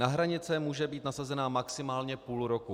Na hranice může být nasazena maximálně půl roku.